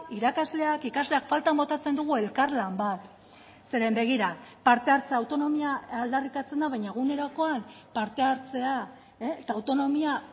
irakasleak ikasleak faltan botatzen dugu elkarlan bat zeren begira parte hartzea autonomia aldarrikatzen da baina egunerokoan parte hartzea eta autonomia